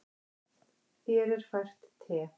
Þér er fært te.